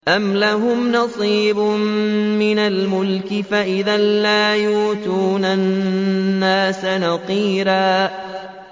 أَمْ لَهُمْ نَصِيبٌ مِّنَ الْمُلْكِ فَإِذًا لَّا يُؤْتُونَ النَّاسَ نَقِيرًا